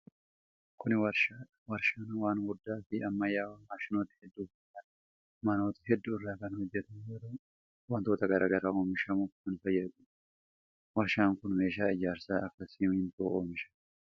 Kun warshaa dha. Warshaan waan guddaa fi ammayyawaa maashinoota hedduu fi manoota hedduu irraa kan hojjatamu yoo ta'u, wantoota garaa garaa oomishuuf kan fayyaduu dha. Warshaan kun meeshaa ijaarsaa kan akka simiintoo oomisha.